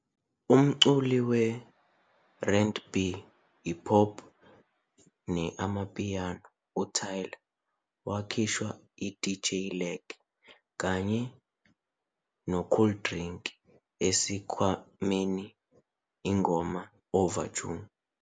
Umculi we-RandB, i-pop, ne-amapiano uTyla wakhishwa i-DJ Lag kanye noKooldrink ekwakheni i-ngoma, "Overdue".